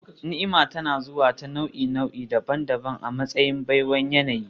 Ni'ima tana zuwa ta nau'i-nau'i daban-daban a matsayin baiwar yanayi